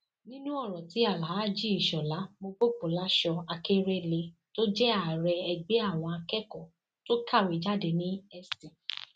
nínú ọrọ tí alháàjì ishólà mobopolásọ akérẹlẹ tó jẹ ààrẹ ẹgbẹ àwọn akẹkọọ tó kàwé jáde ní st